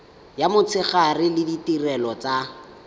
ya motshegare le ditirelo tsa